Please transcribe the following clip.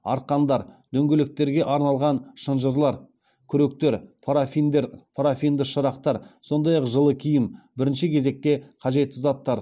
арқандар дөңгелектерге арналған шынжырлар күректер парафинді шырақтар сондай ақ жылы киім бірінші кезекте қажетті заттар